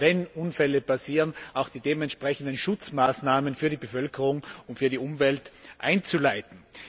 wenn Unfälle passieren, auch die dementsprechenden Schutzmaßnahmen für die Bevölkerung und für die Umwelt einzuleiten.